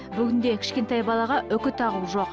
бүгінде кішкентай балаға үкі тағу жоқ